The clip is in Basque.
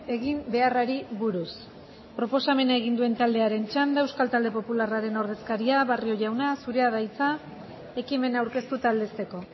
egin beharrari buruz proposamena egin duen taldearen txanda euskal talde popularraren ordezkaria barrio jauna zurea da hitza ekimena aurkeztu eta aldezteko